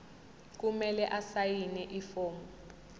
kumele asayine ifomu